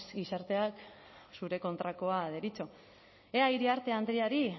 gizarteak zure kontrakoa deritzo ea iriarte andreari